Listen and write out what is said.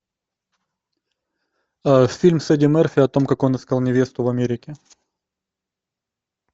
фильм с эдди мерфи о том как он искал невесту в америке